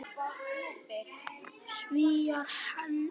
Svíar héldu í